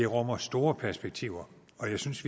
rummer store perspektiver og jeg synes